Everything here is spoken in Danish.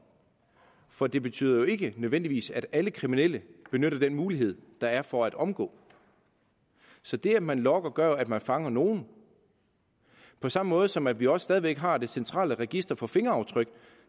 for det betyder jo ikke nødvendigvis at alle kriminelle benytter den mulighed der er for at omgå så det at man logger gør jo at man fanger nogle på samme måde som vi også stadig væk har det centrale register for fingeraftryk